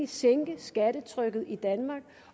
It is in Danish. sænke skattetrykket i danmark